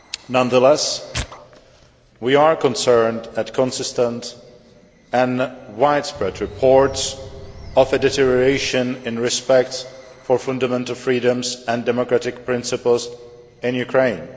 Nonetheless, we are concerned at consistent and widespread reports of a deterioration in respect for fundamental freedoms and democratic principles in Ukraine.